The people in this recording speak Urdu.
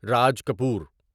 راج کپور